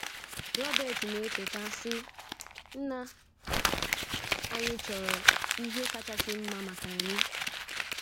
Robert na - echeta, sị: “ Nna anyị chọrọ ihe kasị mma maka anyị.